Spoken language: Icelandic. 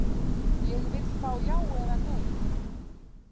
Ég vill fá já eða nei.